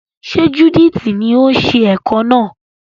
Ṣe Judith ni o ṣe ẹ̀ko náà?